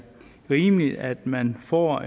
rimeligt at man får